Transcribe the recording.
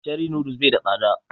Cherie noodles bai da tsada